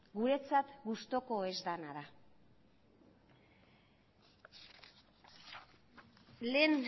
guretzat gustuko ez dena da lehen